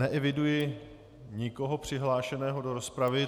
Neeviduji nikoho přihlášeného do rozpravy.